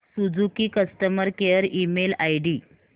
Suzuki customer care email ID